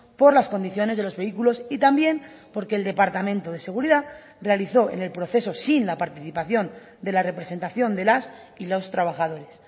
por las condiciones de los vehículos y también porque el departamento de seguridad realizó en el proceso sin la participación de la representación de las y los trabajadores